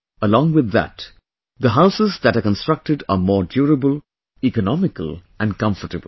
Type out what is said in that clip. Along with that, the houses that are constructed are more durable, economical and comfortable